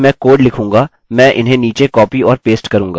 मैं क्या करूँगा कि जब भी मैं कोड लिखूँगा मैं इन्हें नीचे कॉपी और पेस्ट करूँगा